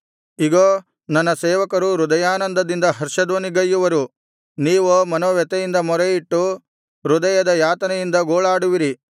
ಇಗೋ ನನ್ನ ಸೇವಕರು ಹೃದಯಾನಂದದಿಂದ ಹರ್ಷಧ್ವನಿಗೈಯುವರು ನೀವೋ ಮನೋವ್ಯಥೆಯಿಂದ ಮೊರೆಯಿಟ್ಟು ಹೃದಯದ ಯಾತನೆಯಿಂದ ಗೋಳಾಡುವಿರಿ